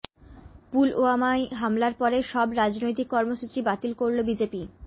পুলওয়ামায় হামলার পরে সব রাজনৈতিক কর্মসূচি বাতিল করল বিজেপি